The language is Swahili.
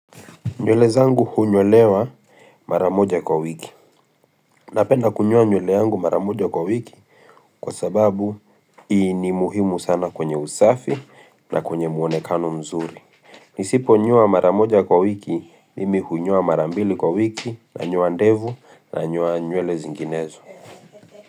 Nywele zangu hunyolewa maramoja kwa wiki. Napenda kunyola nywele yangu maramoja kwa wiki kwa sababu ni muhimu sana kwenye usafi na kwenye muonekano mzuri. Nisipo nyoa maramoja kwa wiki nimi hunyoa marambili kwa wiki na nanyoa ndevu na nyewa nywele zinginezo.